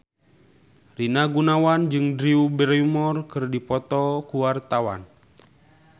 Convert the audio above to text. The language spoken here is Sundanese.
Rina Gunawan jeung Drew Barrymore keur dipoto ku wartawan